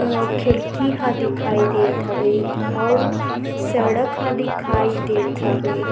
औ खिड़की ह दिखाई देत हवे अउ सड़क ह दिखाई देत हवे ।--